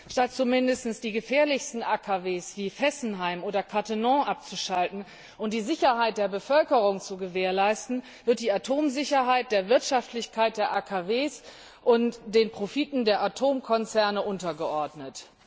Statt zumindest die gefährlichsten AKW wie Fessenheim oder Cattenom abzuschalten und die Sicherheit der Bevölkerung zu gewährleisten, wird die Atomsicherheit der Wirtschaftlichkeit der AKW und den Profiten der Atomkonzerne untergeordnet.